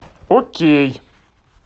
окей